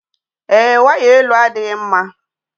Èé, waya elu adịghị mma